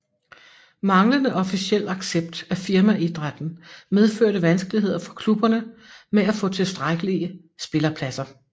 Manglende officiel accept af firmaidrætten medførte vanskeligheder for klubberne med at få tilstrækkelige spillerpladser